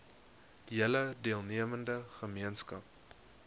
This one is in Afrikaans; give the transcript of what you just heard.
hele deelnemende gemeenskap